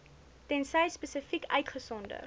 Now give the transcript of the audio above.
tensy spesifiek uitgesonder